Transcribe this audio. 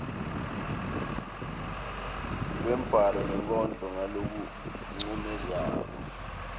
lwembhalo nenkondlo ngalokuncomekako